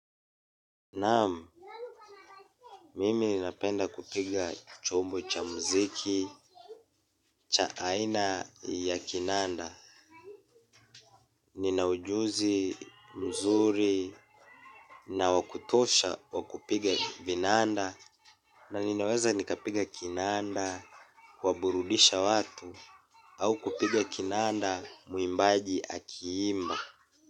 Naam, mimi napenda kupiga chombo cha mziki, cha aina ya kinanda. Nina ujuzi mzuri na wa kutosha wa kupiga vinanda na ninaweza nikapiga kinanda, kuwaburudisha watu, au kupiga kinanda muimbaji akiimba.